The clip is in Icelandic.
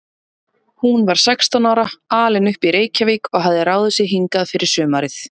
Hún var sextán ára, alin upp í Reykjavík og hafði ráðið sig hingað fyrir sumarið.